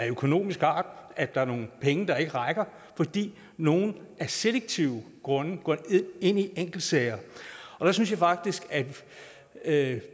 økonomisk art at der er nogle penge der ikke rækker fordi nogle af selektive grunde går ind i enkeltsager der synes jeg faktisk at